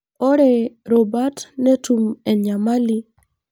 Ore rubat netum enyamali.